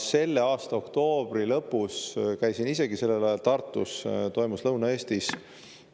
Selle aasta oktoobri lõpus, käisin isegi sellel ajal Tartus, toimus Lõuna-Eestis